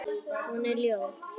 Hún er ljót.